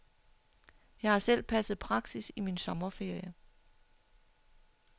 Jeg har selv passet praksis i min sommerferie.